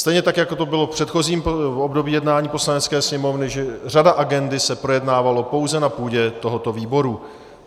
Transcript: Stejně tak jako to bylo v předchozím období jednání Poslanecké sněmovny, že řada agendy se projednávala pouze na půdě tohoto výboru.